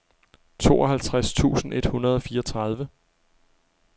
tooghalvfjerds tusind et hundrede og fireogtredive